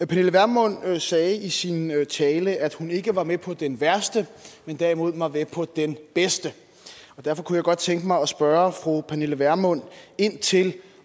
pernille vermund sagde i sin tale at hun ikke var med på den værste men derimod var med på den bedste og derfor kunne jeg godt tænke mig at spørge fru pernille vermund ind til